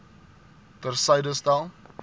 ter syde stel